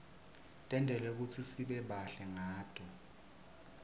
tentelwe kutsi sibe bahle ngato